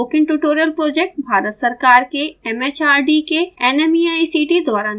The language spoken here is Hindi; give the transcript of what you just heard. spoken tutorial project भारत सरकार के एम एच आर डी के nmeict द्वारा निधिबद्ध है